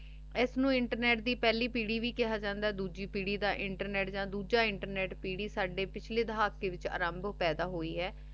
ਏਸ ਨੂ internet ਦੀ ਪਹਲੀ ਪੀਰੀ ਵੀ ਕੇਹਾ ਜਾਂਦਾ ਆਯ ਡੋਜੀ ਪੀਰੀ ਦਾ ਇੰਟਰਨੇਟ ਯਾ ਦੋਜੇ internet ਪੀਰੀ ਸਾਡੇ ਪਿਛਲੀ ਦਹਾਕ ਵਿਚ ਆਰੰਭ ਪੈਦਾ ਹੋਈ ਆਯ